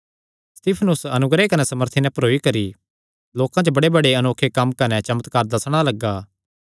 सित्फनुस अनुग्रह कने सामर्थी नैं भरोई करी लोकां च बड़ेबड़े अनोखे कम्म कने चमत्कार दस्सणा लग्गा